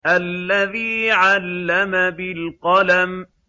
الَّذِي عَلَّمَ بِالْقَلَمِ